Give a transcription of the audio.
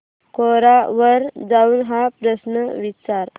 कोरा वर जाऊन हा प्रश्न विचार